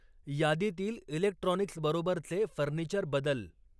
यादीतील इलेक्ट्रॉनिक्सबरोबरचे फर्निचर बदल.